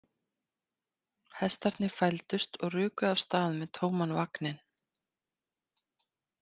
Hestarnir fældust og ruku af stað með tóman vagninn.